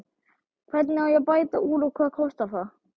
Hvernig á að bæta úr og hvað kostar það?